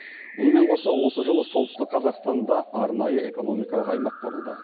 мұнымен қоса осы жылы солтүстік қазақстанда арнайы экономикалық аймақ құрылды